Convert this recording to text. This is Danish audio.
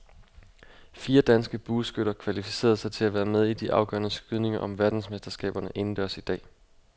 Fire danske bueskytter kvalificerede sig til at være med i de afgørende skydninger om verdensmesterskaberne indendørs i dag.